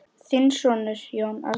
Þinn sonur, Jón Árni.